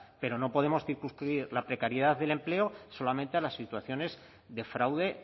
pero no podemos circunscribir la precariedad del empleo solamente a las situaciones de fraude